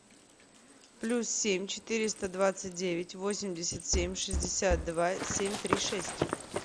плюс семь четыреста двадцать девять восемьдесят семь шестьдесят два семь три шесть